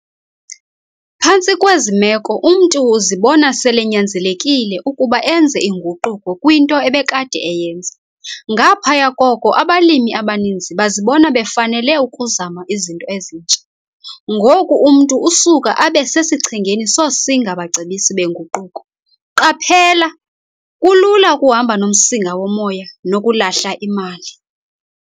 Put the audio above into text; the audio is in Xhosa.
Phantsi kwezi meko umntu uzibona selenyanzelekile ukuba enze inguquko kwinto ebekade eyenza. Ngaphaya koko, abalimi abaninzi bazibona befanele ukuzama izinto ezintsha. Ngoku umntu usuka abe sesichengeni sosinga-bacebisi benguquko. Qaphela, kulula ukuhamba nomsinga womoya nokulahla imali.